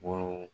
Bɔrɔw